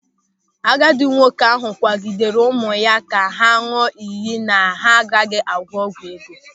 Agadi nwoke ahụ kwagidere ụmụ ya ka ha ñụọ ịyị na ha agaghịkwa agwọ ọgwụ ego.